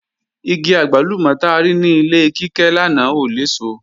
Igi àgbálùmọ̀ ta rí ní ilé Kíkẹ́ lánàá ò léso